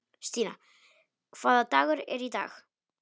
Stína, hvaða dagur er í dag?